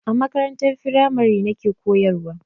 A makarantar firamare nake koyarwa.